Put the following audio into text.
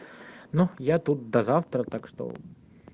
ну я тут до завтра так что